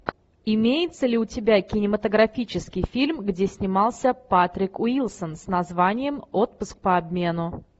имеется ли у тебя кинематографический фильм где снимался патрик уилсон с названием отпуск по обмену